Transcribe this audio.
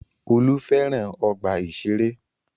Olú fẹ́ràn ọgbà-ìṣeré.